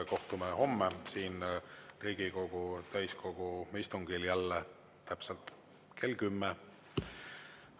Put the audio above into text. Kohtume homme siin Riigikogu täiskogu istungil jälle täpselt kell 10.